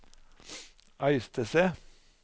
Øystese